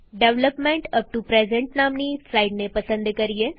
development up to present નામની સ્લાઈડને પસંદ કરીએ